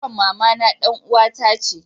yaron mamana dan uwa ta ce